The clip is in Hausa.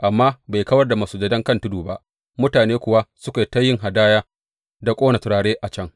Amma bai kawar da masujadan kan tudu ba; mutane kuwa suka yi ta yin hadaya da ƙona turare a can.